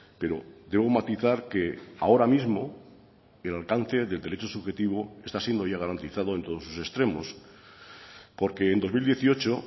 pero debo matizar que ahora mismo el alcance del derecho subjetivo está siendo ya garantizado en todos sus extremos porque en dos mil dieciocho